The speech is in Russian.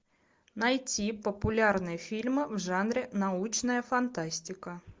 найти популярные фильмы в жанре научная фантастика